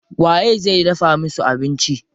Waye zai dafa musu abinci?